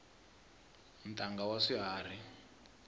ntanga wa swiharhi